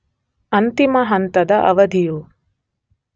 ಅಂತಿಮ ಹಂತದ ಅವಧಿಯು